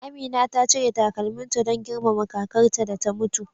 Amina ta cire takalminta don girmama kakarta da ta mutu.